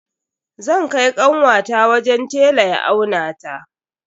Zan kai kanwata wajen tela ya aunata.